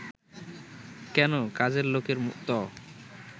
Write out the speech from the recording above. কেন, কাজের লোকের ত